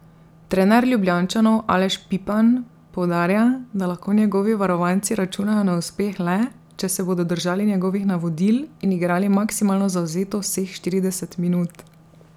Trener Ljubljančanov Aleš Pipan poudarja, da lahko njegovi varovanci računajo na uspeh le, če se bodo držali njegovih navodil in igrali maksimalno zavzeto vseh štirideset minut.